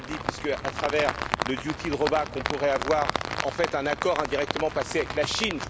Rinaldi puisque, à travers le duty drawback on pourrait avoir en fait un accord indirectement passé avec la Chine.